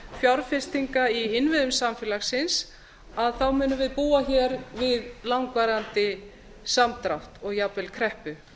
fjárfestinga í innviðum samfélagsins munum við búa hér við langvarandi samdrátt og jafnvel kreppu